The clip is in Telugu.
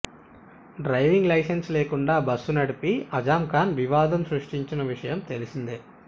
డ్రైవింగ్ లైసెన్స్ లేకుండా బస్సు నడిపి ఆజంఖాన్ వివాదం సృష్టించిన విషయం తెలిసిందే